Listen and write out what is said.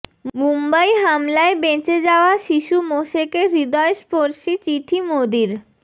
মুম্বই হামলায় বেঁচে যাওয়া শিশু মোশেকে হৃদয়স্পর্শী চিঠি মোদির